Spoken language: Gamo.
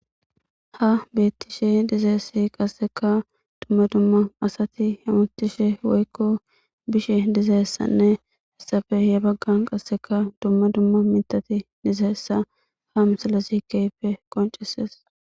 Ha beettishe dizaessi qasseka dumma dumma asati hemutishe woykko bishe dizayessanne issape ye baggan qasseka dumma dumma mithati dizahessa ha misalasi keyppe qoncisees.